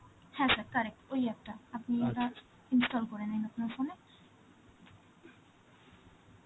হ্যাঁ sir, correct. ওই app টা. আপনি এবার install করেনিন আপনার phone এ.